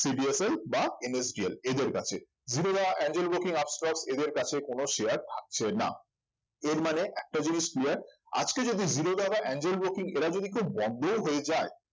CDSL বা NSDL এদের কাছে জিরোধা এঞ্জেল ব্রোকিং আপস্টক্স এদের কাছে কোন share থাকছে না এর মানে একটাই জিনিস clear আজকে যদি জিরোধা বা এঞ্জেল ব্রোকিং এরা যদি কেউ বন্ধও হয়ে যায়